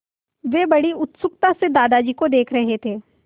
वे बड़ी उत्सुकता से दादाजी को देख रहे थे